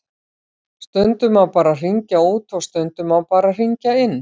Stundum má bara hringja út og stundum má bara hringja inn.